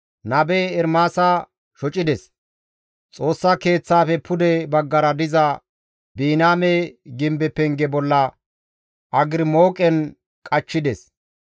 nabe Ermaasa shocides; Xoossa Keeththaafe pude baggara diza Biniyaame gimbe penge bolla agrimooqen qachchides.